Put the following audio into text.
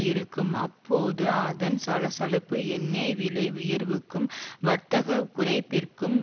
இருக்கும் அப்போது அதன் சலசலப்பு எண்ணெய் விலை உயர்வுக்கும் வர்த்தக குறைப்பிற்கும்